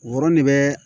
Woro ne bɛ